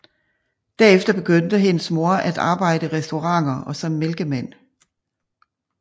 Derefter begyndte hendes moder at arbejde i restauranter og som mælkemand